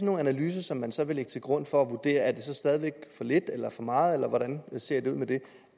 nogle analyser som man så vil lægge til grund for at vurdere om det stadig væk er for lidt eller for meget eller hvordan det ser ud med det